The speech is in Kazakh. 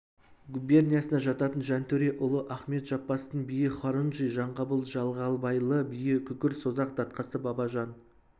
губерниясына жататын жантөре ұлы ахмет жаппастың биі хорунжий жанғабыл жағалбайлы биі күкір созақ датқасы бабажан